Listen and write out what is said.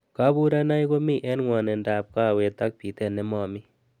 Kaburunoik komi eng ngwanindo ab kawet ak bitet nemomi.